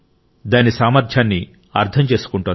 దాని సామర్థ్యాన్ని అర్థం చేసుకుంటోంది